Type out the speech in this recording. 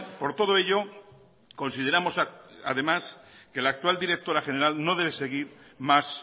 por todo ello consideramos además que la actual directora general no debe seguir más